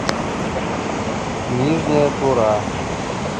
нижняя тура